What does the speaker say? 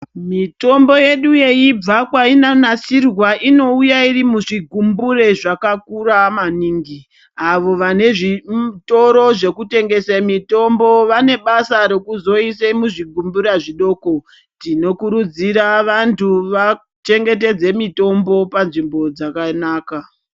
Mitombo yedu yeibva kwainonasirwa inouya iri muzvigumbure zvakakura maningi avo vane zvitoro zvinotengesa mitombo vane basa rekuzoisa muzvigumbura zvidoko tinokurudzira vantu vachengetedze mitombo panzvimbo dzakanaka.